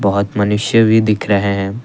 बहोत मनुष्य भी दिख रहे हैं।